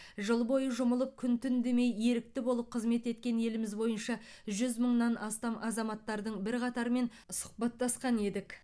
жыл бойы жұмылып күн түн демей ерікті болып қызмет еткен еліміз бойынша жүз мыңнан астам азаматтардың бірқатарымен сұхбаттасқан едік